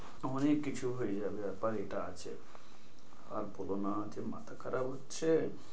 আমারই কিছু হয়ে যাবে ব্যাপার এটা আছে। আর বোলো না যা মাথা খারাপ হচ্ছে।